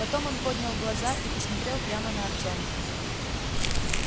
потом он поднял глаза и посмотрел прямо на артёма